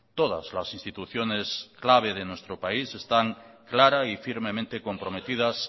todas las instituciones clave de nuestro país están clara y firmemente comprometidas